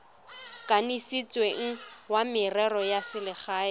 kanisitsweng wa merero ya selegae